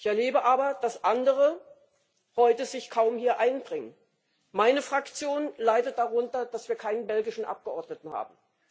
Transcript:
Ich erlebe aber, dass sich andere heute kaum hier einbringen. Meine Fraktion leidet darunter, dass wir keinen belgischen Abgeordneten haben.